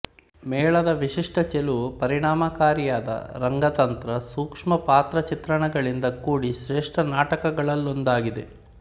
ಮೇಳದ ವಿಶಿಷ್ಟ ಚೆಲುವು ಪರಿಣಾಮಕಾರಿಯಾದ ರಂಗತಂತ್ರ ಸೂಕ್ಷ್ಮ ಪಾತ್ರಚಿತ್ರಣಗಳಿಂದ ಕೂಡಿ ಶ್ರೇಷ್ಠ ನಾಟಕಗಳಲ್ಲೊಂದಾಗಿದೆ